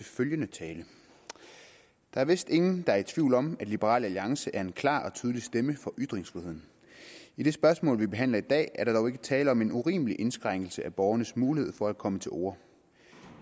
følgende tale der er vist ingen der er i tvivl om at liberal alliance er en klar og tydelig stemme for ytringsfriheden i det spørgsmål vi behandler i dag er der dog ikke tale om en urimelig indskrænkelse af borgernes mulighed for at komme til orde